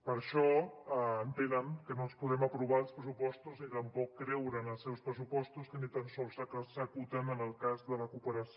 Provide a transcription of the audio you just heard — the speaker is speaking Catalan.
per això entenen que no els podem aprovar els pressupostos ni tampoc creure en els seus pressupostos que ni tan sols s’executen en el cas de la cooperació